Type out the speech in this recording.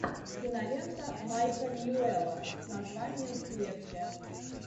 кинолента майка ньюэлла с названием в клетке